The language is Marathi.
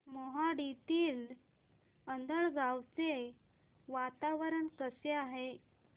मोहाडीतील आंधळगाव चे वातावरण कसे आहे